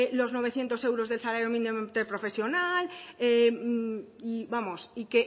los novecientos euros del salario mínimo interprofesional y